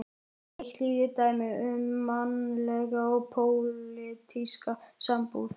Eitt lítið dæmi um mannlega og pólitíska sambúð.